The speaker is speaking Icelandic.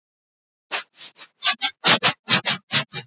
Hvernig gat þetta gerst? spyrja margir.